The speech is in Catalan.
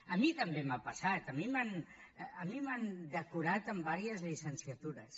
a mi també m’ha passat a mi m’han decorat amb diverses llicenciatures